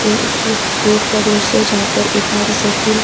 ये एक रोड का दृश्य है जहां पर एक मोटर साइकिल --